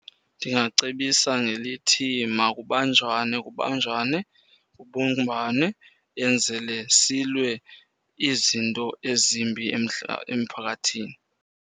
Ndingacebisa ngelithi makubanjwane, kubanjwane, kubumbwane enzele silwe izinto ezimbi emphakathini.